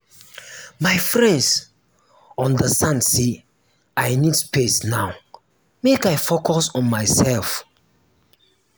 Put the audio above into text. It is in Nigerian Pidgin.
my friends understand sey i need space now make i focus on mysef.